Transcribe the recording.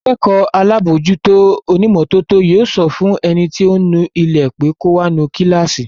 Akẹ́kọ̀ọ́ alábòójútó onímọ́tótó yóò sọ fún ẹni tí ó ń nu ilé pé kò wá nu kíláàsì